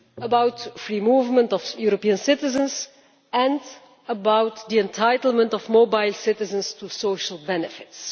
about the free movement of European citizens and the entitlement of mobile citizens to social benefits.